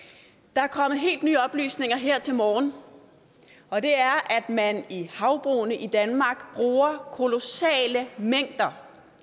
der er kommet helt nye oplysninger her til morgen og det er at man i havbrug i danmark bruger kolossale mængder